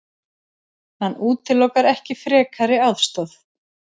Hann útilokar ekki frekari aðstoð.